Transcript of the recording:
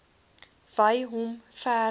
wy hom verder